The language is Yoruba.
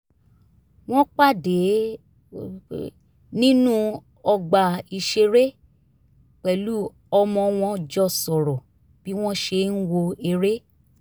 wọ́n pàdé nínú ọgbà ìṣeré pẹ̀lú ọmọ wọn jọ sọ̀rọ̀ bí wọ́n ṣe ń wo eré